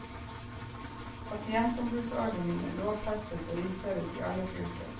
Pasientombudsordningen lovfestes og innføres i alle fylker.